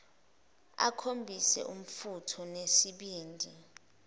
akhombise umfutho nesibindi